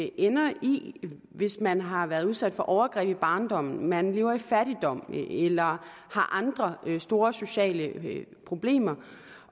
ender i hvis man har været udsat for overgreb i barndommen hvis man lever i fattigdom eller har andre store sociale problemer